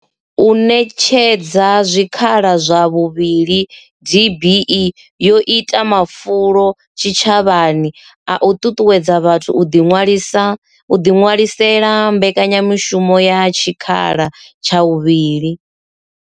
U ṋetshedza zwikhala zwa vhuvhili DBE yo ita mafulo tshitshavhani a u ṱuṱuwedza vhathu u ḓiṅwalisa u ḓiṅwalisela mbekanyamushumo ya tshikhala tsha vhuvhili.